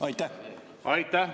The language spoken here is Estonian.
Aitäh!